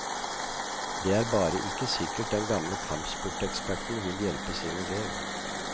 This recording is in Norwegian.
Det er bare ikke sikkert den gamle kampsporteksperten vil hjelpe sin elev.